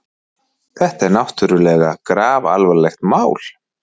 Þetta er náttúrlega grafalvarlegt mál.